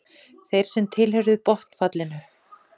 Þeir sem tilheyrðu botnfallinu.